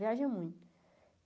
Viaja muito.